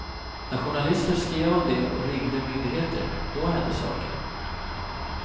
När journalister skrev om det och ringde myndigheter, då hände saker.